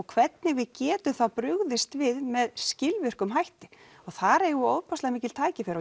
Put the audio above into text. hvernig við getum þá brugðist við með skilvirkum hætti þar mikil tækifæri